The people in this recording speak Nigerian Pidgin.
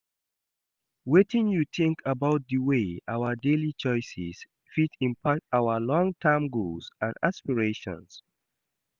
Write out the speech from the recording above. Wetin you think about di way our daily choices fit impact our long-term goals and aspirations?